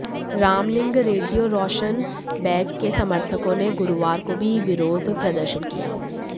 रामलिंग रेड्डी और रोशन बेग के समर्थकों ने गुरुवार को भी विरोध प्रदर्शन किया